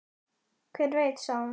Hver veit, sagði hún.